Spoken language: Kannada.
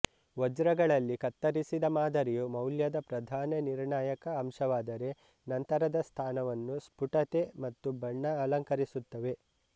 ವಜ್ರಗಳಲ್ಲಿ ಕತ್ತರಿಸಿದ ಮಾದರಿಯು ಮೌಲ್ಯದ ಪ್ರಧಾನ ನಿರ್ಣಾಯಕ ಅಂಶವಾದರೆ ನಂತರದ ಸ್ಥಾನವನ್ನು ಸ್ಫುಟತೆ ಮತ್ತು ಬಣ್ಣಗಳು ಅಲಂಕರಿಸುತ್ತವೆ